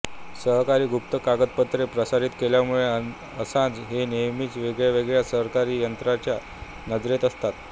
सरकारी गुप्त कागदपत्रे प्रसारित केल्यामुळे असांज हे नेहमीच वेगळ्या वेगळ्या सरकारी यंत्रणेच्या नजरेत असतात